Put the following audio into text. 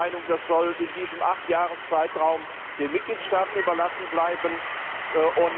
Wir sind der Meinung, dass dies in diesem Achtjahreszeitraum den Mitgliedstaaten überlassen bleiben soll.